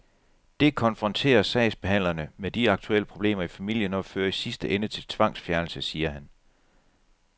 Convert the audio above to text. Det konfronterer sagsbehandlerne med de aktuelle problemer i familien og fører i sidste ende til tvangsfjernelse, siger han.